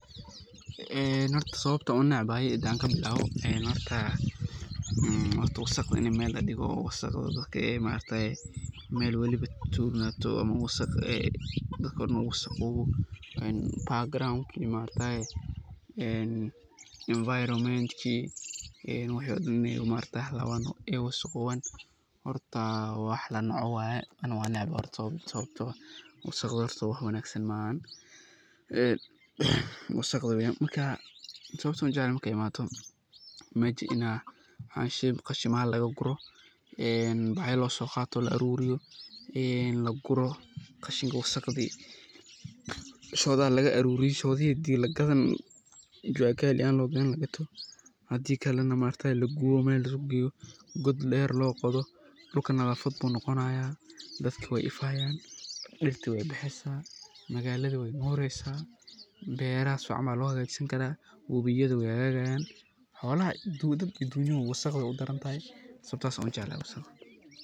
Horta sababta aan unacbahay hadaan kabilaawo, horta wasaqda in meel ladigo ee wasaqda meel walbo aay tuurnaato oo wasaq dulkoo dan uu wasaqoobo, ee [background][environment] inaay halabaan oo aay wasaqooban horta wax lanoco waye ani waan necbahay horta dusuqa wax lanoco waye, meesha in qashimaan laga guro ee bacya losoo qaato la aruuriyo, ee laguro qashinki wasaqdi, shodaha laga aruuriyo shodihi hadii lagadani jua kali ahaan lagato, hadii kalena lagubo oo meel laiskugu geeyo god deer loo qodo, dulka nadafad ayuu noqonayaa, dadka waa ifayaan, magalada weey nureysa, beera camal waa lagu hagaajisan karaa, xowlaha iyo dadkaba wasaqda waa udaran tahay sababtaas ayaa ujeclahay wasaqda.